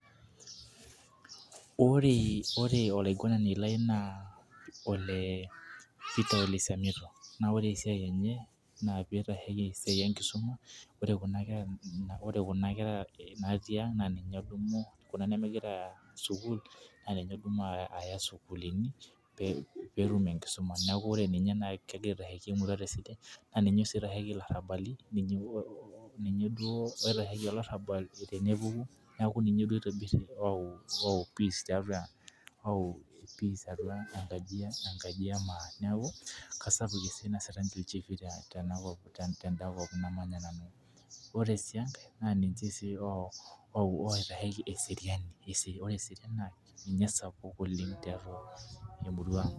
Ore ore olaiguanani lai naa Ole Petae ole Siamito naa ore esiai enye naa pitasheki esiai enkisuma naa ore kuna kera natii ang' na ninye odumu kuna nemigirai aya sukul naa ninye odumu ayaa sukuluni pee etum enkisuma neeku ore ninye kegura aitasheki enkisuma naa ninye sii oitasheki ilarabali ninye duo oitasheki olarabal tenepuku neeku ninye oitobir peace taiatua atua enkaji ee maa. Neeku kasapuk esiai naasita ilchigi tenakol tedakop namanya nanu. Ore aii enkae naa ninche sii outasheki eseriani ore eseriani naa ninye osapuk oleng' taiatua emurua.